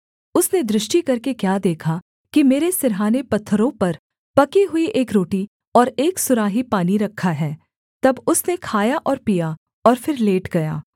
उसने दृष्टि करके क्या देखा कि मेरे सिरहाने पत्थरों पर पकी हुई एक रोटी और एक सुराही पानी रखा है तब उसने खाया और पिया और फिर लेट गया